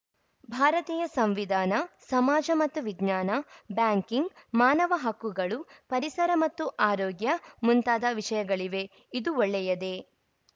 ಭಾರತೀಯ ಸಂವಿಧಾನ ಸಮಾಜ ಮತ್ತು ವಿಜ್ಞಾನ ಬ್ಯಾಂಕಿಂಗ್‌ ಮಾನವ ಹಕ್ಕುಗಳು ಪರಿಸರ ಮತ್ತು ಆರೋಗ್ಯ ಮುಂತಾದ ವಿಷಯಗಳಿವೆ ಇದು ಒಳ್ಳೆಯದೇ